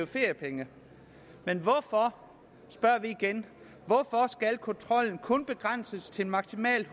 feriepenge men hvorfor spørger vi igen hvorfor skal kontrollen kun begrænses til maksimalt